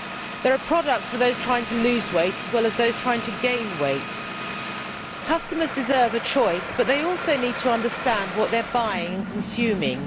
there are products for those trying to lose weight as well as those trying to gain weight. Customers deserve a choice, but they also need to understand what they are buying and consuming.